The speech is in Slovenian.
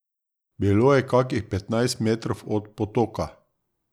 Bilo je kakih petnajst metrov od potoka.